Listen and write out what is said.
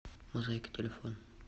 мозайка телефон